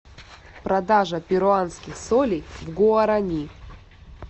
продажа перуанских солей в гуарани